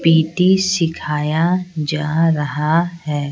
PT सिखाया जा रहा है।